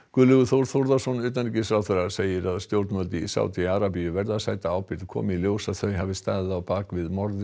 Guðlaugur Þór Þórðarson utanríkisráðherra segir að stjórnvöld í Sádí Arabíu verði að sæta ábyrgð komi í ljós að þau hafi staðið á bak við morð